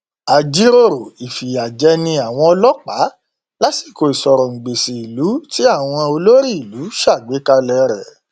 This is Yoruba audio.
a jíròrò ìfìyà jẹni àwọn ọlọpàá lásìkò ìsọrọngbèsì ìlú tí àwọn olórí ìlú ṣàgbékalẹ rẹ